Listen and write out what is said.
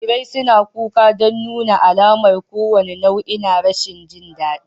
Jarirai suna kuka don nuna alamar kowane nau'i na rashin jin daɗi